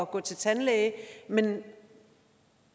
gå til tandlæge men